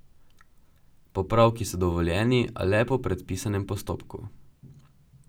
Popravki so dovoljeni, a le po predpisanem postopku.